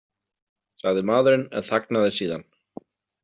, sagði maðurinn en þagnaði síðan.